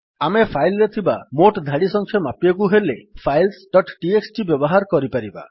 ଆମେ ଫାଇଲ୍ ରେ ଥିବା ମୋଟ୍ ଧାଡି ସଂଖ୍ୟା ମାପିବାକୁ ହେଲେ ଫାଇଲ୍ସ ଡଟ୍ ଟିଏକ୍ସଟି ବ୍ୟବହାର କରିପାରିବା